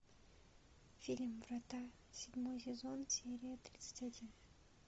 фильм врата седьмой сезон серия тридцать один